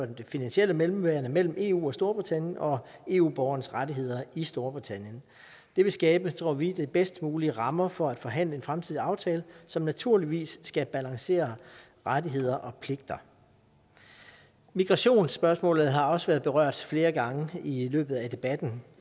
det finansielle mellemværende mellem eu og storbritannien og eu borgernes rettigheder i storbritannien det vil skabe tror vi de bedst mulige rammer for at forhandle en fremtidig aftale som naturligvis skal balancere rettigheder og pligter migrationsspørgsmålet har også været berørt flere gange i løbet af debatten